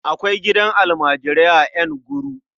Akwai gidan almajirai a Nguru.